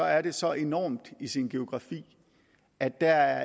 er det så enormt i sin geografi at der